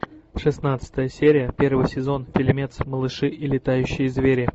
шестнадцатая серия первый сезон фильмец малыши и летающие звери